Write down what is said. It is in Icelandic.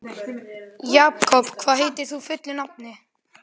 Jakop, hvað heitir þú fullu nafni?